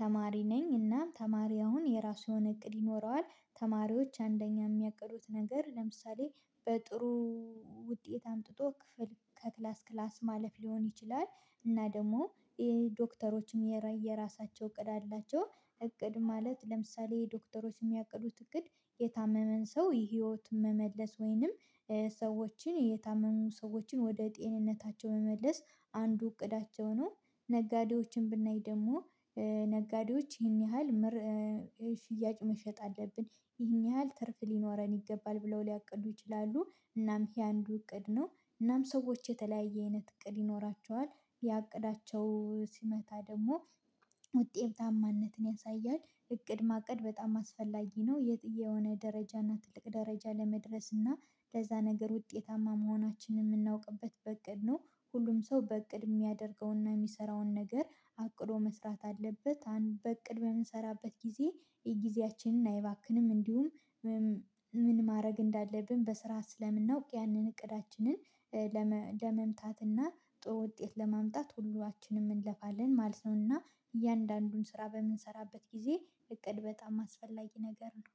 ተማሪ ነኝ እና ተማሪ አሁን የራሱ የሆነ እቅድ ይኖረዋል ተማሪዎች አንደኛ የሚያቅዱት ነገር ለምሳሌ በጥሩ ውጤት አምጥቶ ክፍል ከክላስ ክላስ ማለፍ ሊሆን ይችላል። እና ደግሞ ይሄ ዶክተሮችም የራሳቸው እቅድ አላቸው እቅድ ማለት ለምሳሌ ዶክተሮች የሚያቅዱት እቅድ የታመመን ሰው ህይወት መመለስ ወይንም ሰዎችን የታመሙ ሰዎችን ወደ ጤንነታቸው መመለስ አንዱ እቅዳቸው ነው። ነጋዴዎችን ብናይ ደግሞ ነጋዴዎች ይህን ያህል ሽያጭ መሸጥ አለብን ይህን ያህል ትርፍ ሊኖረን ይገባል ብለው ሊያቅዱ ይችላሉ። እናም ይሄ አንዱ እቅድ ነው እናም ሰዎች የተለያየ አይነት እቅድ ይኖራቸዋል። ያ እቅዳቸው ሲመታ ደግሞ ውጤታማነትን ያሳያል እቅድ ማቀድ በጣም አስፈላጊ ነው። የት የሆነ ደረጃና ትልቅ ደረጃ ለመድረስና ለዛ ነገር ውጤታማ መሆናችንን የምናውቅበት በእቅድ ነው። ሁሉም ሰው በእቅድ የሚያደርገውና የሚሰራውን ነገር አቅዶ መስራት አለበት በእቅድ በምንሰራበት ጊዜ ጊዜያችን አይባክንም እንዲሁም ምን ማድረግ እንዳለብን በስራ ስለምናውቅ ያንን እቅዳችንን ለመምታትና ውጤት ለማምጣት ሁላችንም እንለፋለን ማለት ነውና። እያንዳንዱን ስራ በምንሰራበት ጊዜ እቅድ በጣም አስፈላጊ ነገር ነው